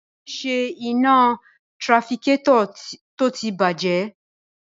Rárá, mi ò ní ṣe iná tirafikétọ̀ tó ti bàjẹ́ náà